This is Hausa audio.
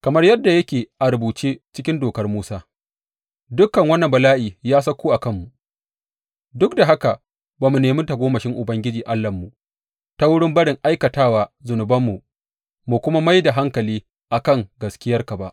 Kamar yadda yake a rubuce cikin Dokar Musa, dukan wannan bala’i ya sauko a kanmu, duk da haka ba mu nemi tagomashin Ubangiji Allahnmu ta wurin barin aikatawa zunubanmu, mu kuma mai da hankali a kan gaskiyarka ba.